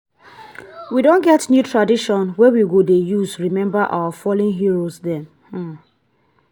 we dey create new festival wey we go dey use celebrate our local food.